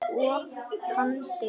Og kann sig.